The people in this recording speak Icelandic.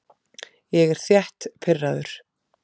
Ég er þétt pirraður.